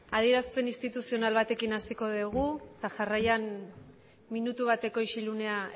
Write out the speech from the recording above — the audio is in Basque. adierazpen instituzional batekin hasiko degu eta jarraian minutu bateko isilunea